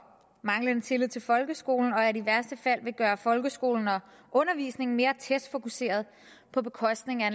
manglende tillid til folkeskolen og at de i værste fald vil gøre folkeskolen og undervisningen mere testfokuseret på bekostning af